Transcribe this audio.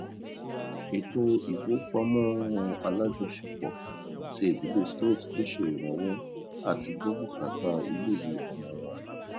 ètò ìfowópamọ àlájọṣepọ ti ìdílé smith ló ṣe ìrànwọ àtigbọ bùkátà iléìwé ọmọ wọn àgbà